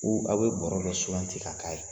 a' bɛ bɔrɔ dɔ suganti ka k'a ye?